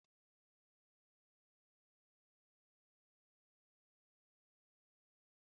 Nụ́dúls na-atọ ụtọ nke ukwuu ejiri karọt na akwụkwọ ndụ síé ya